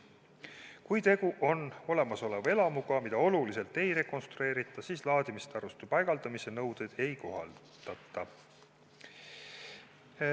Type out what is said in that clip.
Kui tegu on olemasoleva elamuga, mida oluliselt ei rekonstrueerita, siis laadimistaristu paigaldamise nõudeid ei kohaldata.